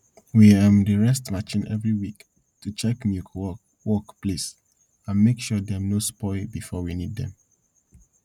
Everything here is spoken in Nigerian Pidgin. we um dey rest marchin every week to check milk work work places and make sure dem no spoil before we need dem